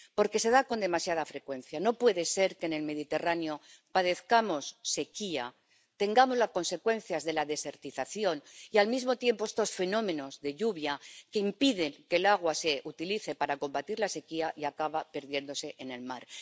Porque se da con demasiada frecuencia no puede ser que en el Mediterráneo padezcamos sequía, tengamos las consecuencias de la desertización y, al mismo tiempo, estos fenómenos de lluvia que impiden que el agua se utilice para combatir la sequía y acabe perdiéndose en el mar.